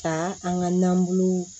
Ka an ka nanbulon